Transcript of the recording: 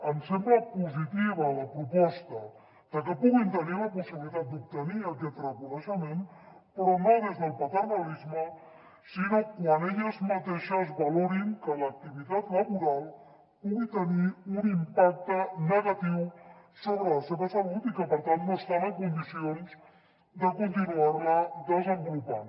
ens sembla positiva la proposta de que puguin tenir la possibilitat d’obtenir aquest reconeixement però no des del paternalisme sinó quan elles mateixes valorin que l’activitat laboral pugui tenir un impacte negatiu sobre la seva salut i que per tant no estan en condicions de continuar la desenvolupant